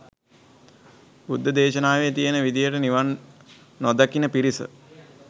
බුද්ධ දේශනාවෙ තියෙන විදිහට නිවන් නොදකින පිරිස